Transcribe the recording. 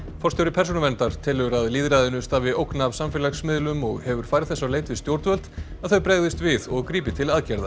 forstjóri Persónuverndar telur að lýðræðinu stafi ógn af samfélagsmiðlum og hefur farið þess á leit við stjórnvöld að þau bregðist við og grípi til aðgerða